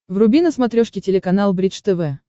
вруби на смотрешке телеканал бридж тв